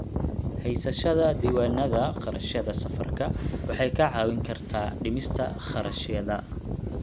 Haysashada diiwaannada kharashyada safarka waxay kaa caawin kartaa dhimista kharashyada.